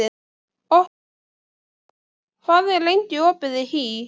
Oktavíus, hvað er lengi opið í HÍ?